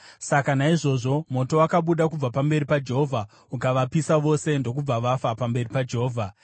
Saka naizvozvo moto wakabuda kubva pamberi paJehovha ukavapisa vose ndokubva vafa pamberi paJehovha.